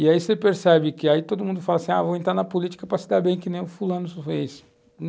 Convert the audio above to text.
E aí você percebe que, aí todo mundo fala assim, vou entrar na política para se dar bem, que nem o fulano fez.